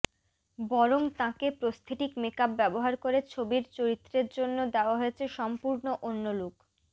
বরং তাঁকে prosthetic makeup ব্যবহার করে ছবির চরিত্রের জন্যে দেওয়া হচ্ছে সম্পূর্ণ অন্য লুক